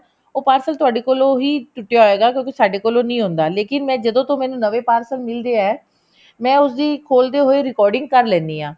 ਉਹ parcel ਤੁਹਾਡੇ ਕੋਲੋ ਹੀ ਟੁੱਟਿਆ ਹੋਏਗਾ ਕਿਉਂਕਿ ਸਾਡੇ ਕੋਲੋ ਨਹੀਂ ਹੁੰਦਾ ਲੇਕਿਨ ਐ ਜਦੋਂ ਤੋਂ ਮੈਨੂੰ ਨਵੇਂ parcel ਮਿਲਦੇ ਐ ਮੈਂ ਉਸਦੀ ਖੋਲਦੇ ਹੋਏ recording ਕਰ ਲੈਨੀ ਹਾਂ